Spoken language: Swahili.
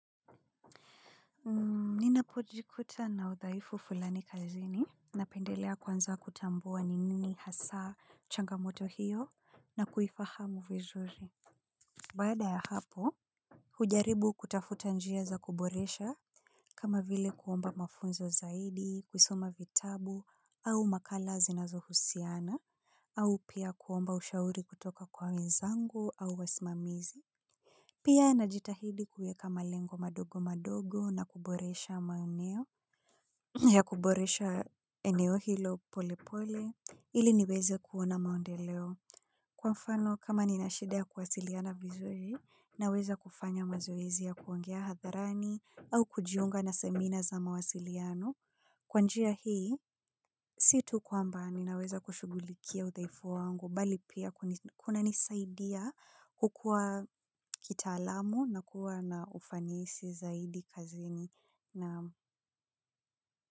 Nina pojikuta na uthaifu fulani kazini na pendelea kwanza kutambua ni nini hasaa changamoto hiyo na kuifahamu vizuri. Bada ya hapo hujaribu kutafuta njia za kuboresha kama vile kuomba mafunzo zaidi kusoma vitabu au makala zinazo husiana au pia kuomba ushauri kutoka kwa wenzangu au wasimamizi. Pia na jitahidi kuweka malengo madogo madogo na kuboresha mauneo ya kuboresha eneo hilo pole pole ili niweze kuona maondeleo. Kwa mfano kama ninashida ya kuwasiliana vizuri na weza kufanya mazoezi ya kuongea hadharani au kujiunga na semina za mawasiliano. Kwanjia hii, situ kwamba ninaweza kushugulikia uthaifu wangu, bali pia kuna nisaidia kukua kita alamu na kuwa na ufanyesi zaidi kazini naam.